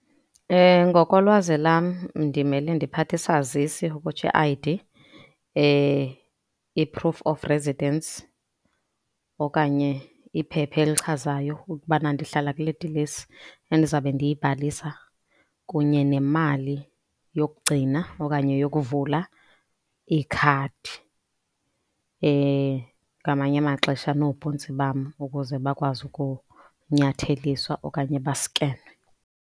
Ngokolwazi lam ndimele ndiphathe isazisi, ukutsho i-I_D, i-proof of presidence okanye iphepha echazayo ukubana ndihlala kule dilesi endizabe ndiyibhalisa kunye nemali yokugcina okanye yokuvula ikhadi. Ngamanye amaxesha noobhontsi bam ukuze bakwazi kunyatheliswa okanye baskenwe.